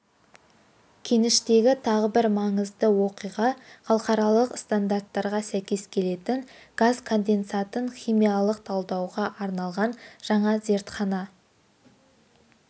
кеніштегі тағы бір маңызды оқиға халықаралық стандарттарға сәйкес келетін газ конденсатын химиялық талдауға арналған жаңа зертхана